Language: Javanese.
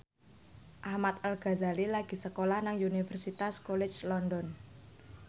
Ahmad Al Ghazali lagi sekolah nang Universitas College London